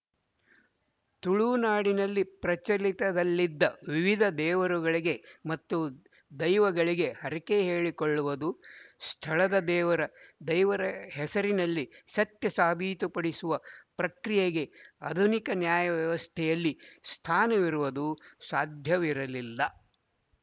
ತುಳುನಾಡಿನಲ್ಲಿ ಪ್ರಚಲಿತದಲ್ಲಿದ್ದ ವಿವಿಧ ದೇವರುಗಳಿಗೆ ಮತ್ತು ದೈವಗಳಿಗೆ ಹರಕೆ ಹೇಳಿಕೊಳ್ಳುವುದು ಸ್ಥಳದ ದೇವರ ದೈವರ ಹೆಸರಲ್ಲಿ ಸತ್ಯ ಸಾಬೀತುಪಡಿಸುವ ಪ್ರಕ್ರಿಯೆಗೆ ಆಧುನಿಕ ನ್ಯಾಯ ವ್ಯವಸ್ಥೆಯಲ್ಲಿ ಸ್ಥಾನವಿರುವುದು ಸಾಧ್ಯವಿರಲಿಲ್ಲ